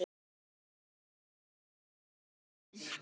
Alls ekki.